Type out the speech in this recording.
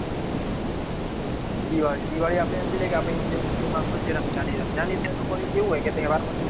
દિવાળી આપડે સમજી લઈ કે હિંદુ મુસલામન માં છે એ રમજાન એ રંજન ઈદ લોકો ને એવું હોય કે તહેવાર